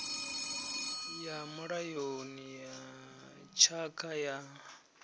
ya mulayoni ya tshakha ya